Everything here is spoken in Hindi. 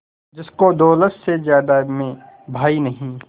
जिसको दौलत से ज्यादा मैं भाई नहीं